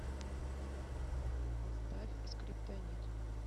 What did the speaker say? поставь скриптонит